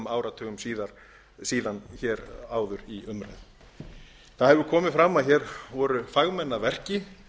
áratugum hér áður í umræðum það hefur komið fram að hér voru fagmenn að verki